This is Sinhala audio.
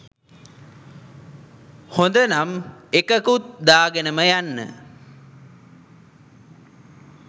හොඳනම් එකකුත් දාගෙනම යන්න